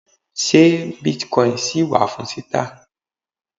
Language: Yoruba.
ṣe bitcoin ṣì wà fún títà